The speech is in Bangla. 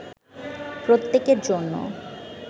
প্রত্যেকের জন্য